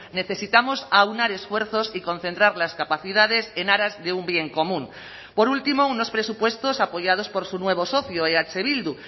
necesitamos aunar esfuerzos y concentrar las capacidades en aras de un bien común por último unos presupuestos apoyados por su nuevo socio eh bildu